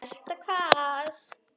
Elta hvað?